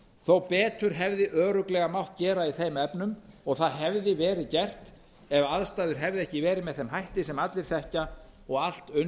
þó betur hefði örugglega mátt gera í þeim efnum og það hefði verið gert ef aðstæður hefðu ekki verið með þeim hætti sem allir þekkja og allt unnið